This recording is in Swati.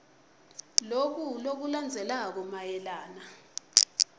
loku lokulandzelako mayelana